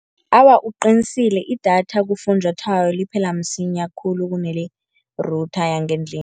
Awa, uqinisile idatha kufunjathwako liphela msinya khulu kunele-router yangendlini.